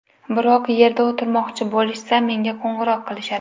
Biror yerda o‘tirmoqchi bo‘lishsa, menga qo‘ng‘iroq qilishadi.